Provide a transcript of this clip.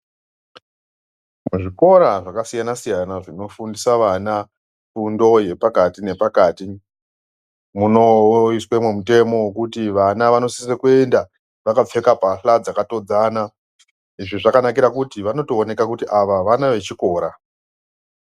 Zvikora zvakasiyana-siyana zvinofundisa vana fundo yepakati-nepakati munoiswemwo mutemo wokuti vana vanosise kuenda vakapfeka mbahla dzakatodzana. Izvi zvakanakira kuti vanotooneka kuti ava vana vechikora.